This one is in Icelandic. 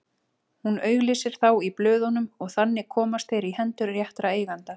Hún auglýsir þá í blöðunum og þannig komast þeir í hendur réttra eigenda.